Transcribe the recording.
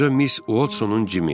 Qoca Miss Watsonun Cimi.